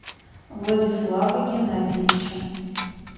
владислава геннадьевича